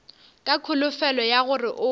ka kholofelo ya gore o